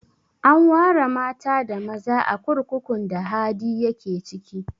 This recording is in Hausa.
An ware mata da maza a kurkukun da Hadi ya ke ciki